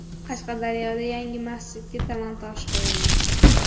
Qashqadaryoda yangi masjidga tamal toshi qo‘yildi.